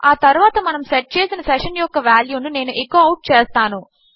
ఆ తరువాత మనము సెట్ చేసిన సెషన్ యొక్క వాల్యూ ను నేను ఎకో అవుట్ చేస్తాను